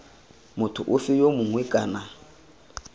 motho ofe yo mongwe kana